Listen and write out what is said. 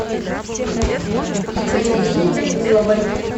екатерине даниловой